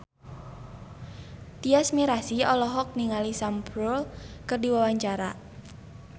Tyas Mirasih olohok ningali Sam Spruell keur diwawancara